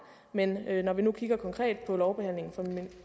men når vi nu kigger konkret på lovbehandlingen